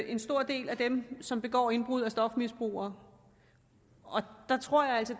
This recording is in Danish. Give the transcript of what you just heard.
en stor del af dem som begår indbrud er stofmisbrugere der tror jeg altså